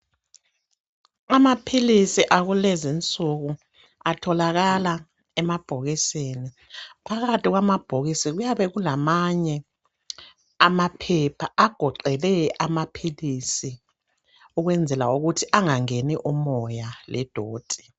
Amaphilisi akulezinsuku atholakala emabhokisini . Phakathi kwamabhokisi kuyabe kulamamanye amaphepha agoqele amaphilisi ukwenzela ukuthi angangeni umoya ledoti .